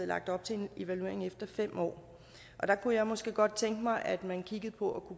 lagt op til en evaluering efter fem år og der kunne jeg måske godt tænke mig at man kiggede på